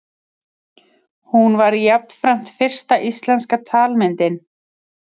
Hún var jafnframt fyrsta íslenska talmyndin.